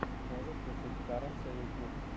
можешь включить харонса ютуб